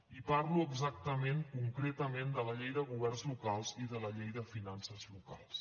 i parlo exactament concretament de la llei de governs locals i de la llei de finances locals